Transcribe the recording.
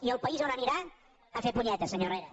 i el país on anirà a fer punyetes senyor herrera